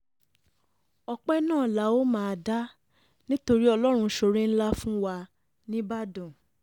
ọpẹ́ náà la ó máa dá nítorí nítorí ọlọ́run ṣoore ńlá fún wa nígbàdàn